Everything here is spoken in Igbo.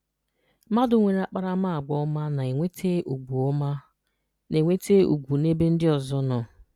Mmadụ nwere akparamaagwa ọma na-enweta ugwu ọma na-enweta ugwu n’ebe ndị ozọ nọ.